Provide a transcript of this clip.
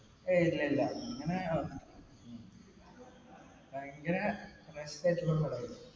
ഏയ്, ഇല്ലല്ലാ അങ്ങനെ ഇങ്ങനെ